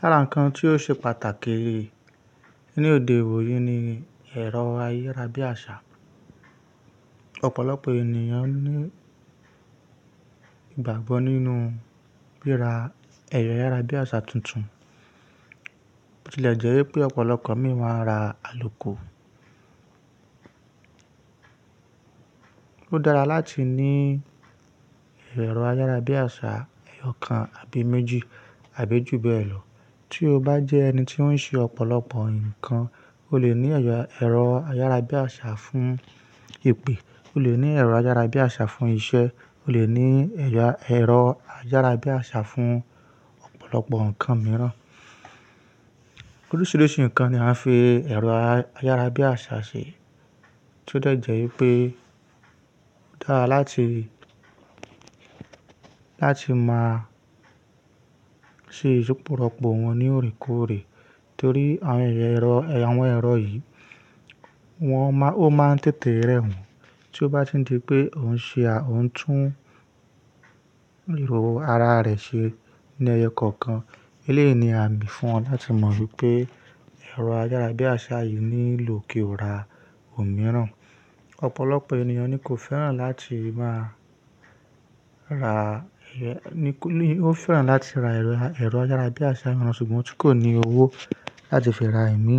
Lára ǹkan tí ó ṣe pàtàkì ní òde òní ni ẹ̀rọ ayárabíàṣá. Ọ̀pọ̀lọpọ̀ ènìyàn ní ìgbàgbọ́ nínú bíra ẹ̀rọ ayárabíàṣá tuntun. Ó ti lẹ̀ jẹ́ wípé ọ̀pọ̀lọpọ̀ mìíràn ra àlòkù. Ó dára láti ní ẹ̀rọ ayárabíàṣá ẹyọ kan àbí méjì àbí jù bẹ́ẹ̀ lọ. Tí o bá jẹ́ ẹni tí ó ń ṣe ọ̀pọ̀lọpọ̀ ǹkan, o lè ní ẹ̀rọ ayárabíàṣá fún ìpè, o lè ní ẹ̀rọ ayárabíàṣá fún iṣẹ́, o lè ní ẹ̀rọ ayárabíàṣá fún ọ̀pọ̀lọpọ̀ ǹkan mìíràn. Oríṣìíríṣìí ǹkan ni a fi ẹ̀rọ ayárabíàṣá ṣe tí ó jẹ́ jẹ́ wípé ó dára láti, láti máa ṣe ìsópọ̀pọ̀ wọn ní òrèkóòrè torí àwọn ẹ̀rọ yìí, wọ́n ó má ń tètè rẹ̀ wọ́n. Tí o bá ti di pé ò ń ṣe, ò ń tún ìhò ara rẹ̀ ṣe ní ẹyọ kọ̀ọ̀kan. Eléyìí ni a mì fún ọ láti mọ̀ wípé ẹ̀rọ ayárabíàṣá yìí nílò kí o ra òmíràn. Ọ̀pọ̀lọpọ̀ ènìyàn ni kò fẹ́ràn láti máa ra ẹ̀yọ, ni ó fẹ́ràn láti ra ẹ̀rọ ayárabíàṣá mìíràn ṣùgbọ́n tí kò ní owó láti fi ra ẹ̀míì